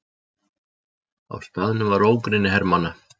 Á staðnum var ógrynni hermanna.